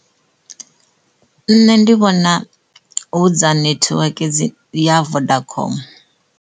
Nṋe ndi vhona hu dza nethiweke ya vodacom.